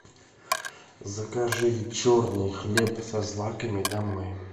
закажи черный хлеб со злаками домой